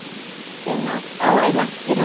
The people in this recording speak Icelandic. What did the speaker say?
Sunna: Ó, er langt í land?